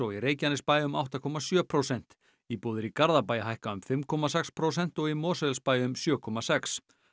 í Reykjanesbæ um átta komma sjö prósent íbúðir í Garðabæ hækka um fimm komma sex prósent og í Mosfellsbæ um sjö komma sex